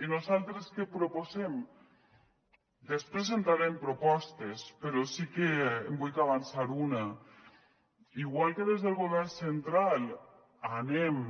i nosaltres què proposem després entraré en propostes però sí que en vullc avançar una igual que des del govern central anem